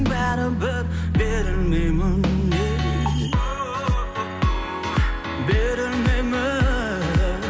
бәрібір берілмеймін берілмеймін